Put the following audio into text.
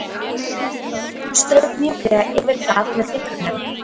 Hún strauk mjúklega yfir það með fingrunum.